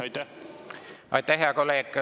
Aitäh, hea kolleeg!